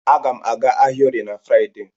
A ga m aga ahịa Orie na Fraịdee.